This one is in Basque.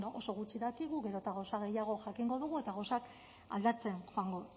bueno oso gutxi dakigu gero eta gauza gehiago jakingo dugu eta gauzak aldatzen joango